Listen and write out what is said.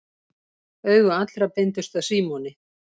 Augu allra beindust að Símoni.